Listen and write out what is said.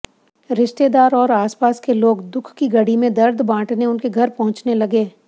रिश्तेदार और आसपास के लोग दुख की घड़ी में दर्द बांटने उनके घर पहुंचने लगे